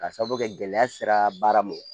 Ka sababu kɛ gɛlɛya sera baara ma